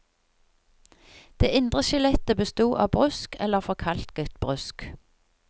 Det indre skjelettet besto av brusk eller forkalket brusk.